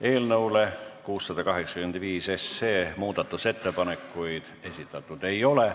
Eelnõu 685 kohta muudatusettepanekuid esitatud ei ole.